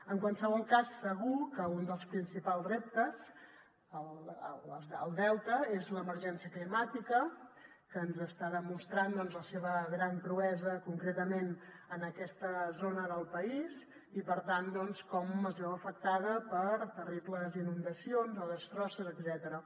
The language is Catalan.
en qualsevol cas segur que un dels principals reptes al delta és l’emergència climàtica que ens està demostrant la seva gran cruesa concretament en aquesta zona del país i per tant com es veu afectada per terribles inundacions o destrosses etcètera